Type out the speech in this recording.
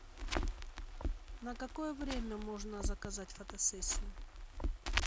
на какое время можно заказать фотосессию